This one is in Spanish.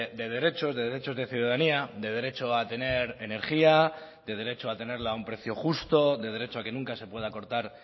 de derechos de derechos de ciudadanía de derecho a tener energía de derecho a tenerla a un precio justo de derecho a que nunca se pueda cortar